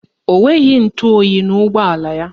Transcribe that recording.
Ọ nweghị ntụoyi n'ụgbọala ya.